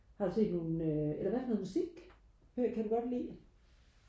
har du set nogle øhm eller hvad for noget musik hører kan du godt lide